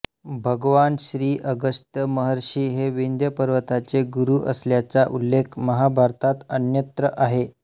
भगवान श्री अगस्त्य महर्षी हे विंध्य पर्वताचे गुरू असल्याचा उल्लेख महाभारतात अन्यत्र आहे